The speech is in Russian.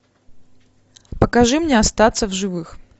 покажи мне остаться в живых